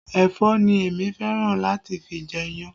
Ẹ̀fọ́ ni èmi fẹ́ràn láti fi jẹ iyan